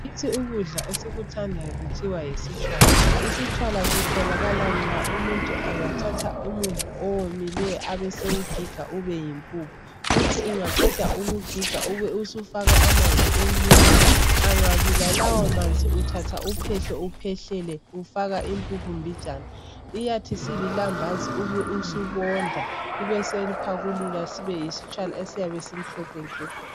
Kithi ukudla esikuthandayo kuthiwa yisitshwala. Isitshwala sitholakala nxa umuntu engathatha umumbu owomileyo ebesewugiga ube yimpuphu kuthi ungaqeda ukugiga ufake amanzi emlilweni engabila lawo manzi. uthatha uphehlo uphehlele besewufaka impuphu mbijana iyathi isililambazi ube usubonda beseliphakulula kuyaba yisitshwala esimhlophe nke